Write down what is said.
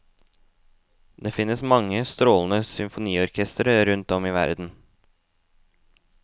Det finnes mange strålende symfoniorkestre rundt om i verden.